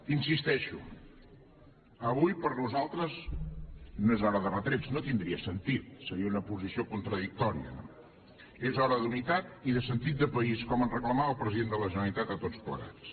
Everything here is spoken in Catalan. hi insisteixo avui per nosaltres no és hora de retrets no tindria sentit seria una posició contradictòria no és hora d’unitat i de sentit de país com ens reclamava el president de la generalitat a tots plegats